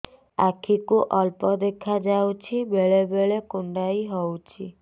ଆଖି କୁ ଅଳ୍ପ ଦେଖା ଯାଉଛି ବେଳେ ବେଳେ କୁଣ୍ଡାଇ ହଉଛି